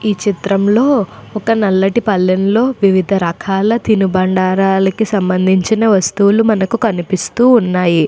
ఈ చిత్రంలోని ఒక నల్లటి పళ్లెంలో వివిధ రకాల తినుబండారాలు కి సంబంధించిన వస్తువులు మనకు కనిపిస్తూ ఉన్నాయి.